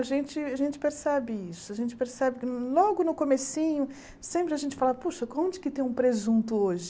A gente a gente percebe isso, a gente percebe que logo no comecinho, sempre a gente fala, poxa, onde que tem um presunto hoje?